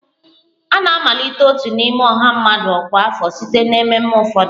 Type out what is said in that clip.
A na-amalite otu n'ime ọha mmadụ ọkwa afọ site na ememe ụfọdụ